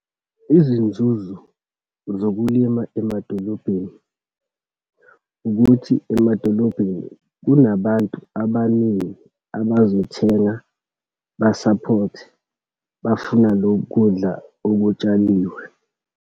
Izinzuzo zokulima emadolobheni, ukuthi emadolobheni kunabantu abaningi abazothenga basaphothe, bafuna lokudla okutshaliwe.